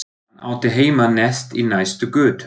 Hann átti heima neðst í næstu götu.